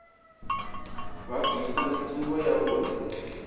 vha bvisa ndi tsumbo yavhuḓi